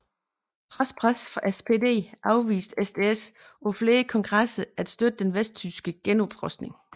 Trods pres fra SPD afviste SDS på flere kongresser at støtte den vesttyske genoprustning